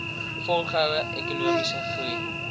volgehoue ekonomiese groei